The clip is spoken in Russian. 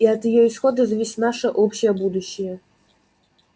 и от её исхода зависит наше общее будущее